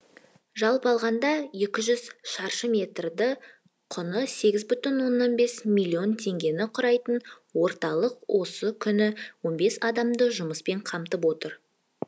жалпы алғанда екі жүз шаршы метрді құны сегіз жарым миллион теңгені құрайтын орталық осы күні он бес адамды жұмыспен қамтып отыр